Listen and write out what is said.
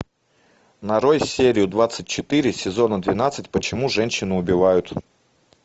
нарой серию двадцать четыре сезона двенадцать почему женщины убивают